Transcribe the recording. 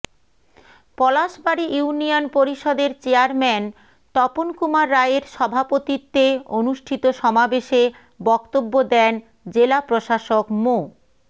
Palashbari union পরিষদের chairman Tapan Kumar রায়ের সভাপতিত্বে অনুষ্ঠিত সমাবেশে বক্তব্য দেন জেলা প্রশাসক মো